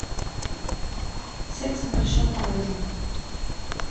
секс в большом городе